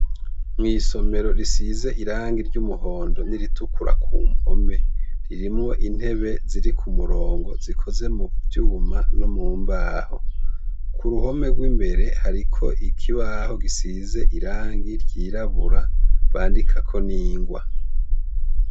Mw'isomero risize irangi ry'umuhondo n'iritukura kumpome ririmwo intebe ziri k'umurongo zikoze mu vyuma nomu mbaho, kuruhome gw'imbere hariko ikibaho gisize irangi ry'irabura bandikako n'ingwa.